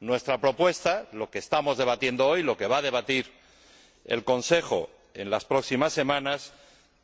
Nuestra propuesta, lo que estamos debatiendo hoy, lo que va a debatir el Consejo en las próximas semanas,